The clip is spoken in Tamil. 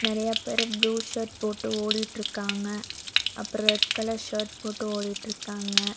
நெறையா பேரு ப்ளூ ஷர்ட் போட்டு ஓடிட்டுருக்காங்க அப்றோ ரெட் கலர் ஷர்ட் போட்டு ஓடிட்டுருக்காங்க.